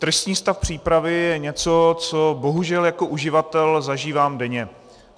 Tristní stav přípravy je něco, co bohužel jako uživatel zažívám denně.